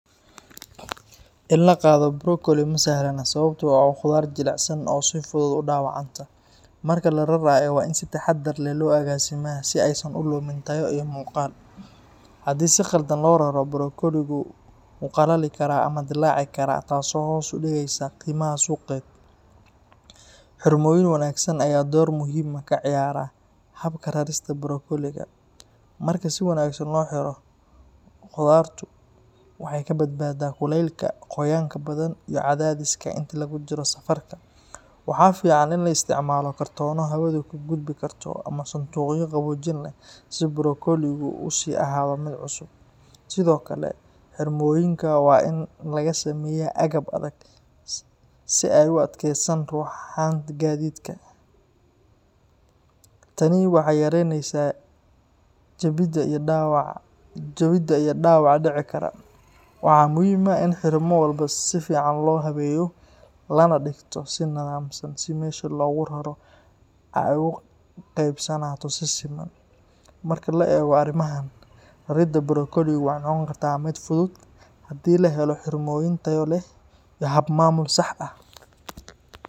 In la qaado brokoli ma sahlana sababtoo ah waa khudaar jilicsan oo si fudud u dhaawacanta. Marka la rarayo, waa in si taxaddar leh loo agaasimaa si aysan u lumin tayo iyo muuqaal. Haddii si khaldan loo raro, brokoligu wuu qallali karaa ama dillaaci karaa, taas oo hoos u dhigaysa qiimaha suuqeed. Xirmooyin wanaagsan ayaa door muhiim ah ka ciyaara habka rarista brokoliga. Marka si wanaagsan loo xiro, khudaartu waxay ka badbaadaa kulaylka, qoyaanka badan, iyo cadaadiska inta lagu jiro safarka. Waxaa fiican in la isticmaalo kartoono hawadu ka gudbi karto ama sanduuqyo qaboojin leh si brokoligu u sii ahaado mid cusub. Sidoo kale, xirmooyinka waa in laga sameeyaa agab adag si ay u adkeystaan ruxanka gaadiidka. Tani waxay yaraynaysaa jabidda iyo dhaawaca dhici kara. Waxaa muhiim ah in xirmo walba si fiican loo habeeyo lana dhigto si nidaamsan si meesha loogu raro ay ugu qaabaysnaato si siman. Marka la eego arrimahan, raridda brokoli waxay noqon kartaa mid fudud haddii la helo xirmooyin tayo leh iyo hab maamul sax ah.